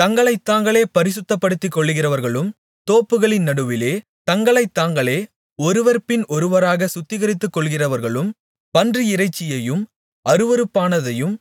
தங்களைத்தாங்களே பரிசுத்தப்படுத்திக்கொள்ளுகிறவர்களும் தோப்புகளின் நடுவிலே தங்களைத் தாங்களே ஒருவர்பின் ஒருவராகச் சுத்திகரித்துக்கொள்ளுகிறவர்களும் பன்றியிறைச்சியையும் அருவருப்பானதையும்